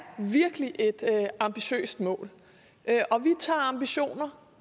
virkelig et ambitiøst mål og vi tager ambitioner